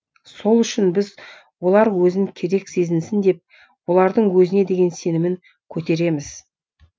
сол үшін біз олар өзін керек сезінсін деп олардың өзіне деген сенімін көтереміз